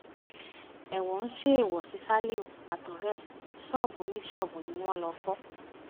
ẹ̀wọ̀n ń ṣèwọ sí ṣálíhù àtọ̀rẹ́ ẹ̀ ṣọ́ọ̀bù oníṣọ́ọ̀bù ni wọ́n lọ́ọ́ fọ́